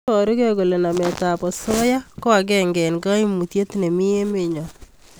Iborukei kole nametab osoya ko agenge eng koimutiet neiimi emenyo